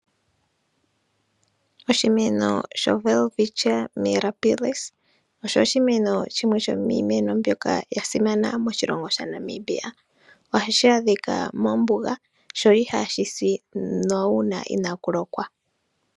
Oshimeno shoWelwitchia mirabilis osho oshimeno shimwe shomiimeno mbyono ya simana moNamibia. Ohashi adhika mombuga sho ihashi si uuna inaaku lokwa.